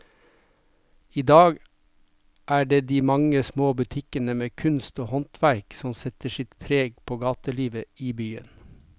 I dag er det de mange små butikkene med kunst og håndverk som setter sitt preg på gatelivet i byen.